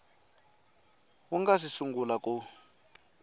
wu nga si sungula ku